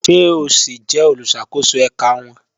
Ṣe o si jẹ oluṣakoso ẹka wọn?